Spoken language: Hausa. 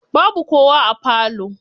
Babu kowa a falo.